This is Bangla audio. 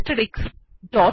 দেখা যাক কী জয়